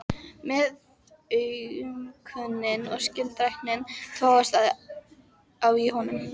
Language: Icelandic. Meðaumkunin og skylduræknin togast á í honum.